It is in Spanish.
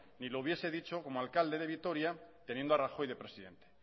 ni lo hubiese dicho como alcalde de vitoria teniendo a rajoy de presidente